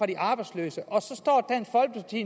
de arbejdsløse